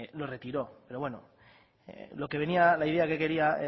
lo retiró la idea que quería